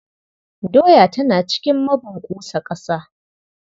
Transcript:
Doya tana cikin mabunƙusa ƙasa.